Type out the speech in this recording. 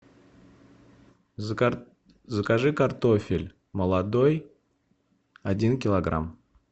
закажи картофель молодой один килограмм